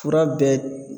Fura bɛɛ